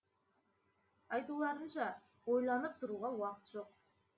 айтуларынша ойланып тұруға уақыт жоқ